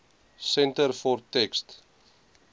centre for text